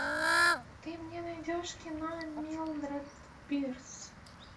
ты мне найдешь кино милдред пирс